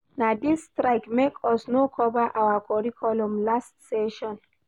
Na dis strike make us no cover our curriculum last session.